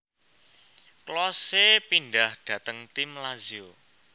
Klose pindhah dhateng tim Lazio